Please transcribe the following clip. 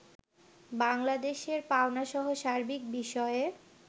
বাংলাদেশের পাওনাসহ সার্বিক বিষয়ে